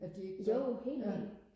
at de ikke gør ja